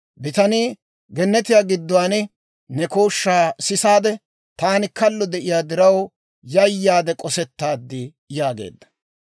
Bitanii, «Gennetiyaa gidduwaan ne kooshshaa sisaadde, taani kallo de'iyaa diraw, yayaade k'osettaad» yaageedda.